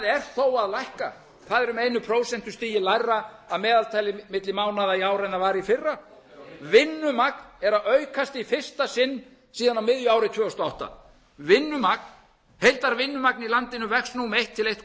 er þó að lækka það er um einu prósentustigi lægra að meðaltali milli mánaða í ár en það var í fyrra vinnumagn er að aukast í fyrsta sinn síðan á miðju ári tvö þúsund og átta vinnumagn heildarvinnumagn í landinu vex nú um eitt